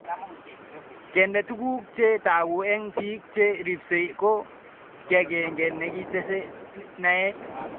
Kende tuguk che tagu eng' pik che ripsei ko kii ag'eng'e nekitese naet